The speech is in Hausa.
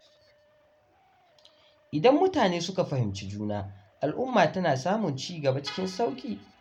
Idan mutane suka fahimci juna, al’umma tana samun cigaba cikin sauƙi.